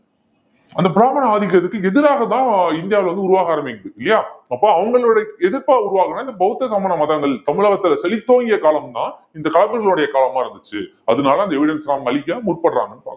அந்த பிராமண ஆதிக்கத்துக்கு எதிராக தான் இந்தியாவுல வந்து உருவாக ஆரம்பிக்குது இல்லையா அப்ப அவங்களுடைய எதிர்ப்பா உருவாகணும்னா இந்த பௌத்த சமண மதங்கள் தமிழகத்துல செழித்தோங்கிய காலம் தான் இந்த களப்பிரர்களுடைய காலமா இருந்துச்சு அதனால அந்த evidence எல்லாம் அழிக்க முற்படுறாங்கன்னு பார்க்கிறோம்